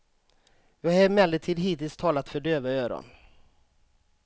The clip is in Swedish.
Vi har emellertid hittills talat för döva öron.